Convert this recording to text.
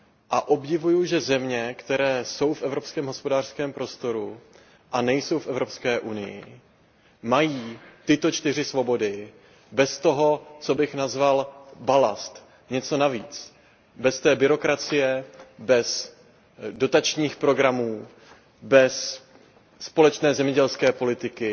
A obdivuju, že země, které jsou v Evropském hospodářském prostoru a nejsou v EU, mají tyto čtyři svobody bez toho, co bych nazval balastem, bez té byrokracie, bez dotačních programů, bez společné zemědělské politiky.